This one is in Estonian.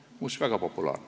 Muuseas, see on väga populaarne.